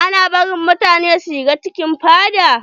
Ana bari mutane su shiga cikin fada?